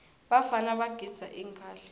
bafana bagidza ingadla